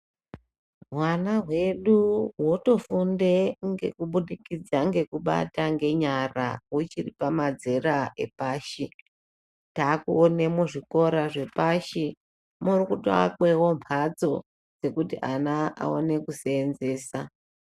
Hwana hwedu hwotofunde ngekubudikidza ngekubata ngenyara huchiri pamadzera epashi , takuone muzvikora zvepashi muritoakwewo mbatso dzekuti ana awane kuseenzesa.